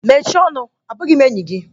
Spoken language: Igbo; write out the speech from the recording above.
Mechie ọnụ! Abụghị m enyi gị!